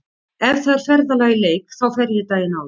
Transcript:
Ef það er ferðalag í leik þá fer ég daginn áður.